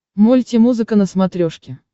мульти музыка на смотрешке